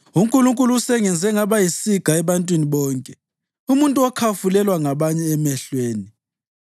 UNkulunkulu usengenze ngaba yisiga ebantwini bonke, umuntu okhafulelwa ngabanye emehlweni.